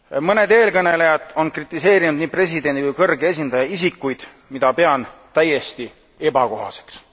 Mõned eelkõnelejad on kritiseerinud nii presidendi kui ka kõrge esindaja isikuid, mida pean täiesti ebakohaseks.